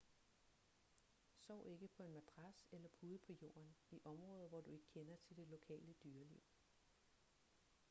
sov ikke på en madras eller pude på jorden i områder hvor du ikke kender til det lokale dyreliv